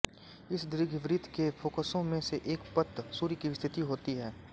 इस दीर्घवृत्त के फोकसों में से एक पर सूर्य की स्थिति होती है